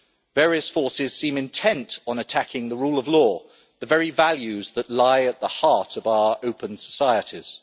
Various forces seem intent on attacking the rule of law, the very values that lie at the heart of our open societies.